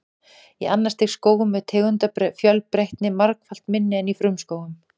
Í annars stigs skógum er tegundafjölbreytni margfalt minni en í frumskógum.